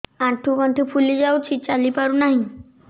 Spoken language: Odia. ଆଂଠୁ ଗଂଠି ଫୁଲି ଯାଉଛି ଚାଲି ପାରୁ ନାହିଁ